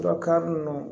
Surakakari ninnu